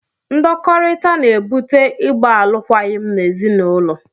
Ndọkọrita na-ebute ịgba alụkwaghịm n'ezinaụlọ.